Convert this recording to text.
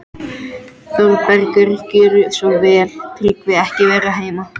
ÞÓRBERGUR: Gjörðu svo vel, Tryggvi er ekki heima.